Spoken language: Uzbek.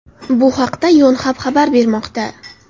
Bu haqda Yonhap xabar bermoqda .